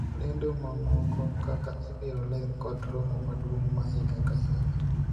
lendo mamoko kaka ibiro ler kod romo maduong' ma higa ka higa